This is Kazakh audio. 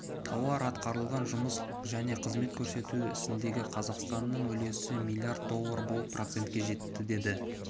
тауар атқарылған жұмыс және қызмет көрсету ісіндегі қазақстанның үлесі млрд доллар болып процентке жетті деді